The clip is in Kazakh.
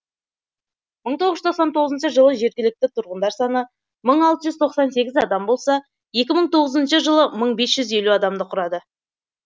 мың тоғыз жүз тоқсан тоғызыншы жылы жергілікті тұрғындар саны мың алты жүз тоқсан сегіз адам болса екі мың тоғызыншы жылы мың бес жүз елу адамды құрады